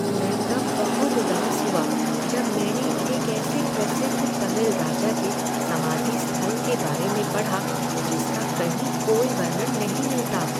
मैं तब बहुत उदास हुआ जब मैंने एक ऐसे प्रसिद्ध तमिल राजा के समाधि स्थल के बारे में पढ़ा जिसका कहीं कोई वर्णन नहीं मिलता।